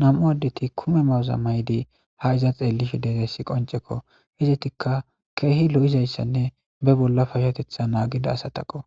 nam'u addeti kume mawuza maydi ha iza xeellisfidetesi qoncekko hizetikka keehi lo'izayssanne be bolla fashetetha naagida asataqo